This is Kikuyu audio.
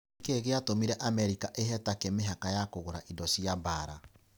Nĩkĩĩ gĩatũmire Amerika ĩhe Turkey mĩbaka ya kũgũra indo cia mbaara?